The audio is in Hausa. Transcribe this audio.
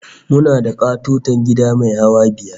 Muna da ƙatoton gida mai hawa biyar